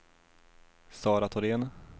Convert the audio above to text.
Sara Thorén